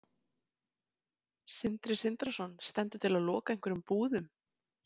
Sindri Sindrason: Stendur til að loka einhverjum búðum?